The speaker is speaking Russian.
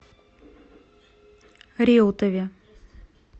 реутове